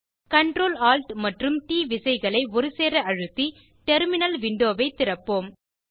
Ctrl Alt மற்றும் T விசைகளை ஒருசேர அழுத்தி டெர்மினல் விண்டோவைத் திறப்போம்